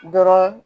Dɔrɔn